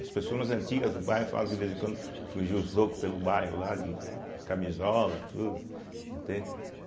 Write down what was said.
As pessoas mais antigas do bairro falam que, de vez em quando, fugiam os loucos pelo bairro, lá de camisola e tudo, entende.